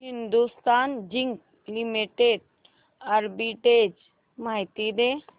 Hindustan zinc limited arbitrage माहिती दे